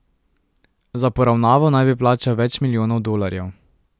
Za poravnavo naj bi plačal več milijonov dolarjev.